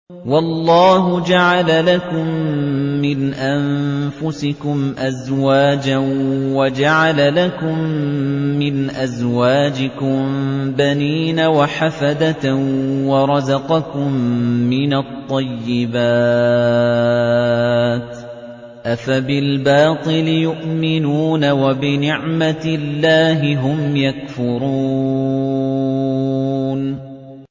وَاللَّهُ جَعَلَ لَكُم مِّنْ أَنفُسِكُمْ أَزْوَاجًا وَجَعَلَ لَكُم مِّنْ أَزْوَاجِكُم بَنِينَ وَحَفَدَةً وَرَزَقَكُم مِّنَ الطَّيِّبَاتِ ۚ أَفَبِالْبَاطِلِ يُؤْمِنُونَ وَبِنِعْمَتِ اللَّهِ هُمْ يَكْفُرُونَ